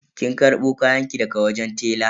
Kin karbo kayanki daga wajen tela?